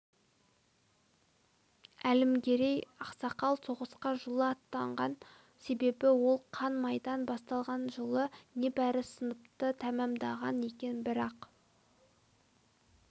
әлімгерей ақсақал соғысқа жылы аттанған себебі ол қан майдан басталған жылы небәрі сыныпты тәмамдаған екен бірақ